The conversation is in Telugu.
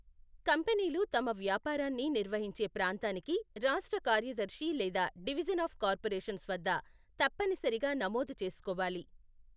కంపెనీలు తమ వ్యాపారాన్ని నిర్వహించే ప్రాంతానికి రాష్ట్ర కార్యదర్శి లేదా డివిజన్ ఆఫ్ కార్పొరేషన్స్ వద్ద తప్పనిసరిగా నమోదు చేసుకోవాలి.